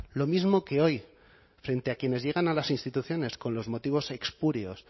lo mismo que hoy frente a quienes llegan a las instituciones con los motivos espurios